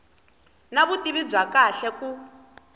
na vutivi bya kahle ku